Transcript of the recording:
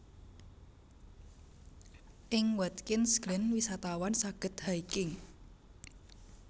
Ing Watkins Glen wisatawan saged hiking